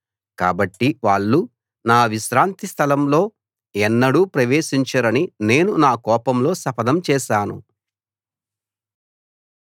కాబట్టి వాళ్ళు నా విశ్రాంతి స్థలంలో ఎన్నడూ ప్రవేశించరని నేను నా కోపంలో శపథం చేశాను